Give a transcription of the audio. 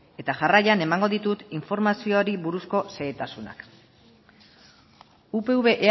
eta jarraian emango ditut informazioari buruzko xehetasunak upv